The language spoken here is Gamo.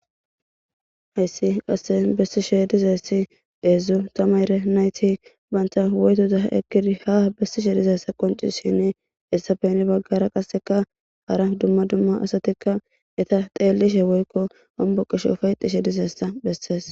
Hayissi qasika besishe dizayisi hedzdzu tamare nayiti banta woyitoza ekidi ha besishe dizayisi qonc,isishini hesappe hini bagara qasika hara duma duma asati ha xelishe woyiko homboqishe ufayixishe dizayisa beses